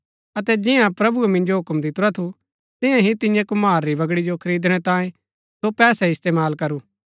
अतै जियां प्रभुऐ मिन्जो हुक्म दितुरा थू तियां ही तियैं कुम्हार री बगड़ी जो खरिदणै तांयें सो पैसै इस्तेमाल करु